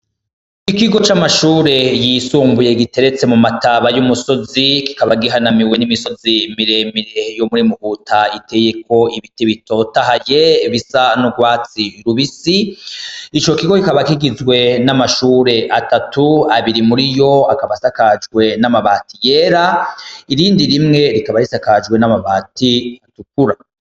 Ikigo camashure yisumbuye kiteretse mumataba yumusozi kikaba gihananiwe nimisozi miremire riteyeko ibiti bitotahaye bisa nurwatsi rubisi ico kigo kikaba kigizwe namashure abatatu abiri muriyo abasakajwe namabati yera irindi rimwe rikaba risukujwe amabiti atukura